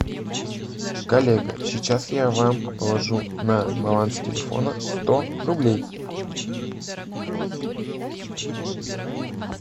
коллега сейчас я вам положу на баланс телефона сто рублей